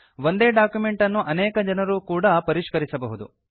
ಒಂದೇ ಡಾಕ್ಯುಮೆಂಟ್ ಅನ್ನು ಅನೇಕ ಜನರೂ ಕೂಡಾ ಪರಿಷ್ಕರಿಸಬಹುದು